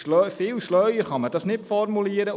Viel schlauer kann man dies nicht formulieren.